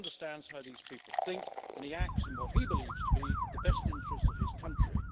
He understands how these people think, and he acts in what he believes to be the best interests of his country.